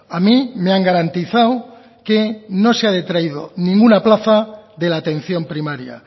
a mí me han garantizado que no se ha detraído ninguna plaza de la atención primaria